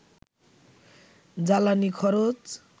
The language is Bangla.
জ্বালানি খরচ